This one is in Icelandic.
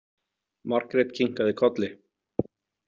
Margrét kinkaði kolli.